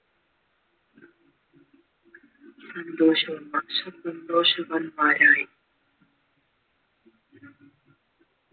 സന്തോഷവാന്മാരായി